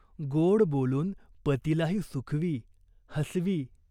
गोड बोलून पतीलाही सुखवी, हसवी.